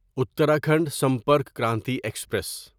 Uttarakhand Sampark Kranti express